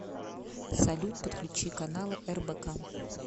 салют подключи каналы рбк